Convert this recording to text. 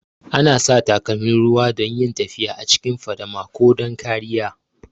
Ana sa takalmin ruwa don yin tafiya a cikin fadama ko don kariya